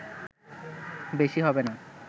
বেশি হবে না